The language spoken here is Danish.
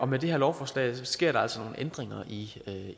med det her lovforslag sker der altså ændringer i